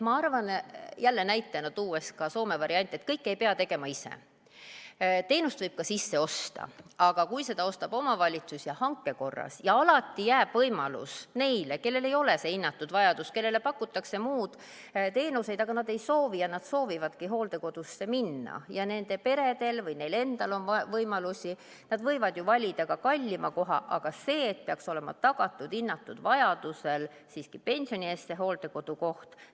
Ma arvan, jälle näitena tuues ka Soome varianti, et kõike ei pea tegema ise, teenust võib ka sisse osta, aga kui seda ostab omavalitsus ja hanke korras , siis hinnatud vajaduse korral peaks olema hooldekodukoht siiski pensioni eest tagatud.